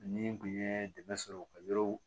Ni n kun ye dɛmɛ sɔrɔ ka yɔrɔ